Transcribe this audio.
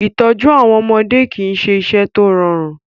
Ìtọ́jú àwọn ọmọdé kì í ṣe iṣẹ́ tó rọrùn.